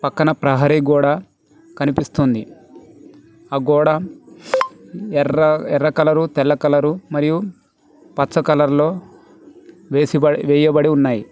పక్కన ప్రహరీ గోడ కనిపిస్తోంది ఆ గోడ ఎర్ర ఎర్ర కలరు తెల్ల కలరు మరియు పచ్చ కలర్లో వేసిబడ్ వేయబడి ఉన్నాయి.